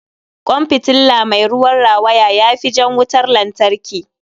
Kwan fitilla mai ruwan rawaya ya fi jan wutar lantarki.